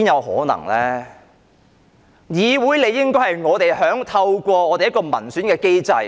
在議會上，理應是由我們透過民選機制......